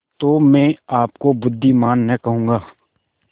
तो मैं आपको बुद्विमान न कहूँगा